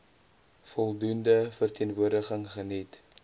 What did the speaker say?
voldoende verteenwoordiging geniet